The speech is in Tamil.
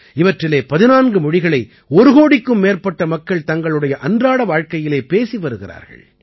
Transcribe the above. இவற்றிலே 14 மொழிகளை ஒரு கோடிக்கும் மேற்பட்ட மக்கள் தங்களுடைய அன்றாட வாழ்க்கையிலே பேசி வருகிறார்கள்